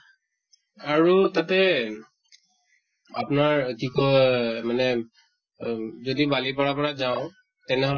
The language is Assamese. আৰু তাতে আপোনাৰ কি কয় মানে অ যদি বালিপাৰা পৰা যাওঁ তেনে